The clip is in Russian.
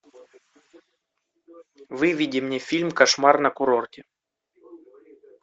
выведи мне фильм кошмар на курорте